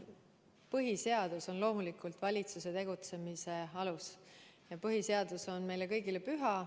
Põhiseadus on loomulikult valitsuse tegutsemise alus ja põhiseadus on meile kõigile püha.